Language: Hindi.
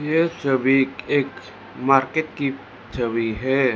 यह छवि एक मार्केट की छवि है।